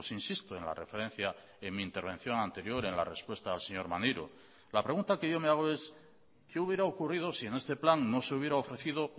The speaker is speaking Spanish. insisto en la referencia en mi intervención anterior en la respuesta al señor maneiro la pregunta que yo me hago es qué hubiera ocurrido si en este plan no se hubiera ofrecido